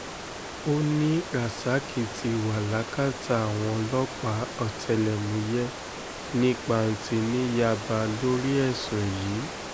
ó ní rasaki ti wà lákàtà àwọn ọlọ́pàá ọ̀tẹlẹ̀múyẹ́ ní panti ní yaba lórí ẹ̀sùn yìí